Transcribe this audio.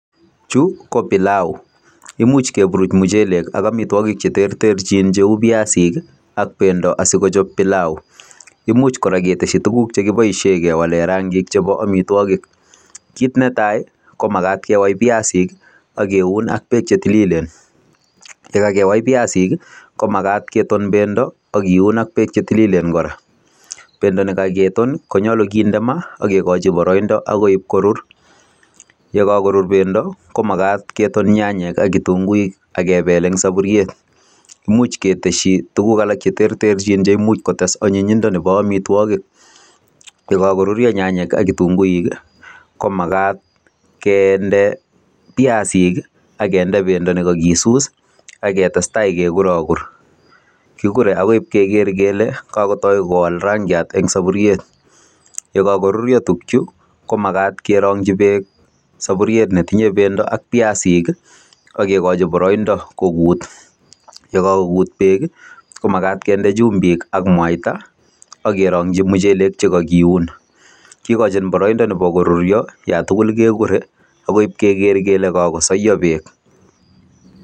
Chu ko pilau. Imuch kepuruch muchelek ak amitwogik che terterchin cheu piasik ak bendo asigochop pilau. Imuch kora ketesyi tuguk che kiboisien kewale rangik chebo amitwogik. Kit ne tai ko magat kewai piasik ak keun ak beek chetililen. Ye kagewai piasik, komagat keton bendo ak kiun ak beek che tililen kora. Bendo ne kageton konyolu kinde ma ak kegochi boroindo agoi korur. Yekagorur bendo ko magat keton nyanyek ak kitunguik ak kebel eng sapuriet. Imuch ketesyi tuguk alak che terterchin ndemuch kotes anyinyindo nebo amitwogik. Yegagorurio nyanyek ak kitunguik komagat kende piasik ii ak kende bendo negagisus ak ketestai keguragur. Kigurei agoi ip keger kele kagotoi kowal rangiat eng sapuriet. Yekagoruruo tukchu ko magat kerong'chi beek sapuriet ne tinye bendo ak piasik ak kegochi boroindo kogut. Ye kagogut beek, komagat kende chumbik ak mwaita ak kerongchi muchelek che kagiun. Kigochin boroindo nebo korurio, yatugul kegure agoi ip keger kele kagosaiyo beek.